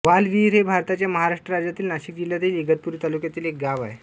वालविहीर हे भारताच्या महाराष्ट्र राज्यातील नाशिक जिल्ह्यातील इगतपुरी तालुक्यातील एक गाव आहे